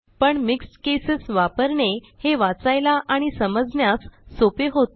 पण mixed cases वापराने हे वाचायला आणि समजण्यास सोपे होते